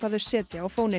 þau setja á